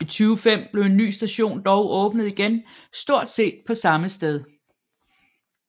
I 2005 blev en ny station dog åbnet igen stort set på samme sted